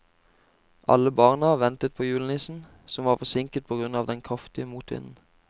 Alle barna ventet på julenissen, som var forsinket på grunn av den kraftige motvinden.